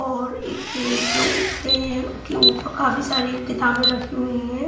और एक टेबल के ऊपर काफी सारी किताबें रखी हुई है.